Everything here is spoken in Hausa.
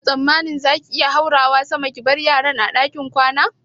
Kina tsammanin za ki iya haurawa sama ki bar yaran a ɗakin kwana?